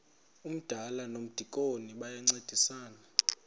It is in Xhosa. umdala nomdikoni bayancedisana